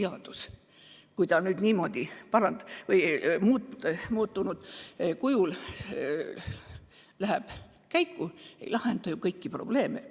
Kui see seadus nüüd niimoodi muudetud kujul läheb käiku, ei lahenda see ikkagi kõiki probleeme.